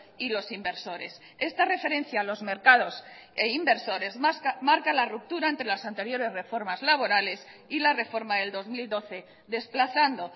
y los inversores esta referencia a los mercados e inversores marca la ruptura entre las anteriores reformas laborales y la reforma del dos mil doce desplazando